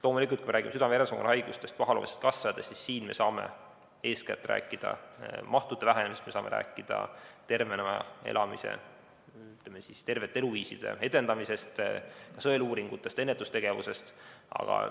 Loomulikult, kui me räägime südame-veresoonkonnahaigustest või pahaloomulistest kasvajatest, siis siin me saame eeskätt rääkida mahtude vähenemisest, me saame rääkida tervena elamise, või ütleme, tervete eluviiside edendamisest, sõeluuringutest, ennetustegevusest.